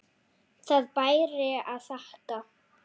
Það bæri að þakka.